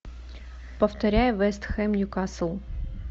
повторяй вест хэм ньюкасл